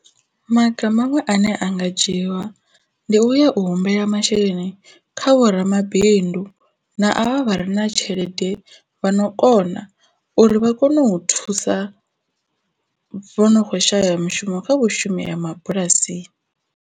Maga maṅwe ane a nga dzhiiwa ndi uya u humbela masheleni kha vhoramabindu na a vha re na tshelede vhano kona uri vha kone u thusa vho no kho shaya mushumo kha vhashumi ha mabulasini.